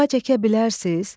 Ağac əkə bilərsiz?